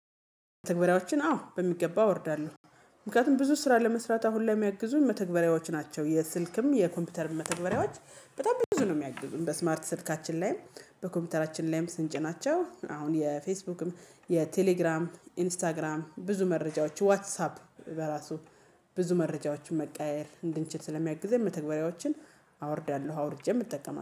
መተግበሪያዋችን አዎ በሚገባ አወርዳለሁ። ምክንያቱም ብዙ ስራ ለመስራት አሁን ላይ የሚያግዙኝ መተግበሪያዎች ናቸው የስልክም የኮምፒውተርም መተግበሪያዎች። በጣም ብዙ ነው የሚያግዙን በስማርት ስልካችን ላይም። በኮምፒውተራችን ላይም ስንጭናቸው አሁን የፌስቡክም የቴሌግራም ኢንስታግራም ብዙ መረጃዎች ዋትሳፕ በራሱ ብዙ መረጃዎችን መቀያየር እንድንችል ስለሚያግዘኝ መተግበሪያዎችን። አወርዳለሁ አውርጄም እጠቀማለሁ